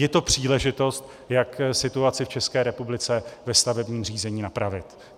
Je to příležitost, jak situaci v České republice ve stavebním řízení napravit.